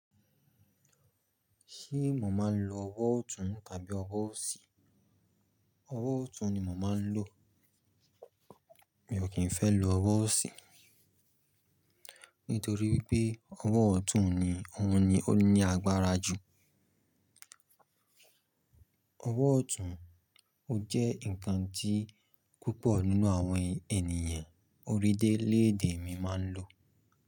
Ṣé mo máa ń lo ọwọ́ ọ̀tún tàbí ọwọ́ òsì? Ọwọ́ ọ̀tún ni mo máa ń lò. Mi ò kín fẹ́ lo ọwọ́ òsì. Nítorí wípé ọwọ́ ọ̀tún ni òun ni ó ní agbára ju. Ọwọ́ ọ̀tún ó jẹ́ ǹkan tí púpọ̀ nínú àwọn ènìyàn orílẹ̀èdè mi má ń lò.